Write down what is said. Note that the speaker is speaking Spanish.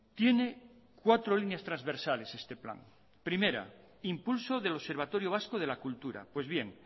tiene cuatro líneas transversales este plan primera impulso del observatorio vasco de la cultura pues bien